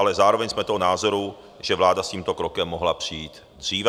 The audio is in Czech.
Ale zároveň jsme toho názoru, že vláda s tímto krokem mohla přijít dříve.